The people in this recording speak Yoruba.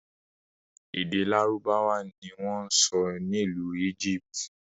Èdè lárúbáwá ni wọn ń sọ n'ilu Egypt.